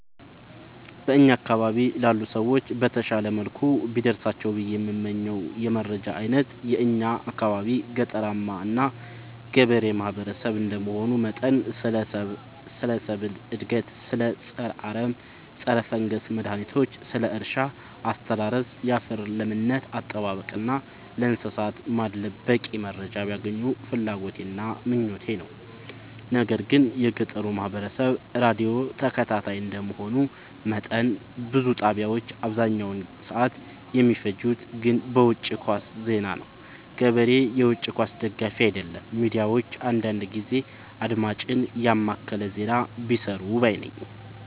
በእኛ አካባቢ ላሉ ሰዎች በተሻለ መልኩ ቢደርሳቸው ብዬ የምመኘው የመረጃ አይነት የእኛ አካባቢ ገጠራማ እና ገበሬ ማህበሰብ እንደመሆኑ መጠን ስለ ሰብል እድገት ስለ ፀረ አረም ፀረፈንገስ መድሀኒቶች ስለ እርሻ አስተራረስ ያፈር ለምነት አጠባበቅ እና ስለእንሰሳት ማድለብ በቂ መረጃ ቢያገኙ ፍላጎቴ እና ምኞቴ ነው። ነገር ግን የገጠሩ ማህበረሰብ ራዲዮ ተከታታይ እንደ መሆኑ መጠን ብዙ ጣቢያዎች አብዛኛውን ሰዓት የሚፈጅት ግን በውጪ ኳስ ዜና ነው። ገበሬ የውጪ ኳስ ደጋፊ አይደለም ሚዲያዎች አንዳንዳንድ ጊዜ አድማጭን የማከለ ዜና ቢሰሩ ባይነኝ።